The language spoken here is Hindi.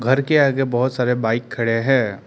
घर के आगे बहुत सारे बाइक खड़े हैं।